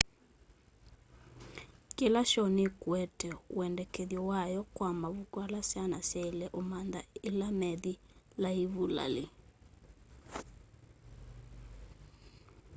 kila shoo nikuete wendekethyo wayo kwa mavuku ala syana syaile umantha ila methi laivulali